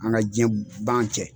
An ka diɲɛ ban cɛ.